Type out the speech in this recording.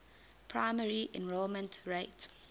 primary enrollment rate